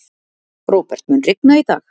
Róbert, mun rigna í dag?